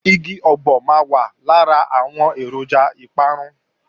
Igi ọ̀gbọ̀ máa wà lára àwọn èròjà ìparun